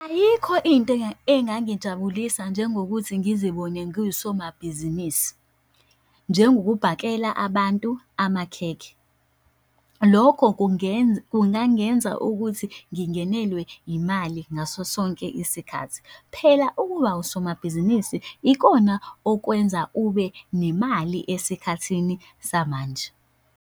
Ayikho into engangijabulisa njengokuthi ngizibone ngiwusomabhizinisi, njengokubhakela abantu amakhekhe. Lokho kungenza, kungangenza ukuthi ngingenelwe imali ngaso sonke isikhathi. Phela ukuba usomabhizinisi ikona okwenza ube nemali esikhathini samanje.